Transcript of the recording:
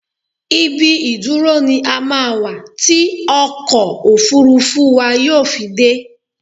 Ibi ìdúró ní á máa wà tí ọkọ̀ òfuurufú wà yóò fi dé